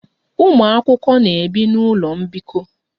Ụmụ akwụkwọ na-ebi n'ụlọ mbikọ